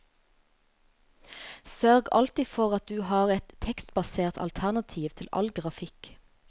Sørg alltid for at du har et tekstbasert alternativ til all grafikk.